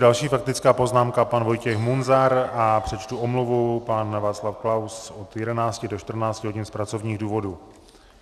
Další faktická poznámka pan Vojtěch Munzar a přečtu omluvu - pan Václav Klaus od 11 do 14 hodin z pracovních důvodů.